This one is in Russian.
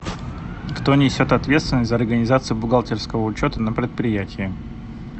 кто несет ответственность за организацию бухгалтерского учета на предприятии